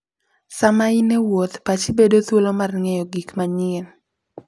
Sama in e wuoth, pachi bedo thuolo mar ng'eyo gik manyien.